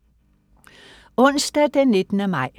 Onsdag den 19. maj